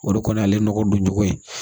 O de kɔni ye ale nɔgɔ don cogo ye